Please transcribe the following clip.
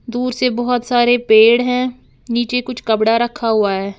दूर से बहोत सारे पेड़ हैं नीचे कुछ कपड़ा रखा हुआ है।